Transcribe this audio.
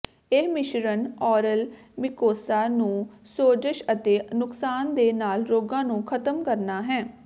ਇਹ ਮਿਸ਼ਰਣ oral mucosa ਨੂੰ ਸੋਜ਼ਸ਼ ਅਤੇ ਨੁਕਸਾਨ ਦੇ ਨਾਲ ਰੋਗਾਂ ਨੂੰ ਖ਼ਤਮ ਕਰਨਾ ਹੈ